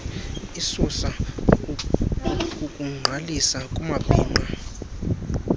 isusa ukugqalisa kumabhinqa